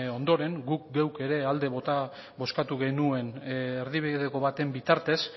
ondoren guk geuk ere alde bozkatu genuen erdibideko baten bitartez